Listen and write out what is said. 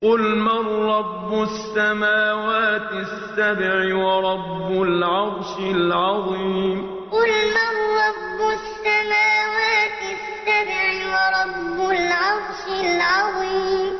قُلْ مَن رَّبُّ السَّمَاوَاتِ السَّبْعِ وَرَبُّ الْعَرْشِ الْعَظِيمِ قُلْ مَن رَّبُّ السَّمَاوَاتِ السَّبْعِ وَرَبُّ الْعَرْشِ الْعَظِيمِ